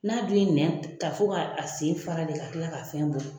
N'a dun ye nɛn ta, fo k'a a sen fara le ka kila ka fɛn bɔ.